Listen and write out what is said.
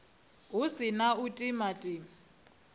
hu si na u timatima